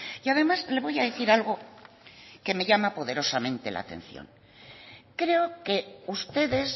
y además le voy a decir algo que me llama poderosamente la atención creo que ustedes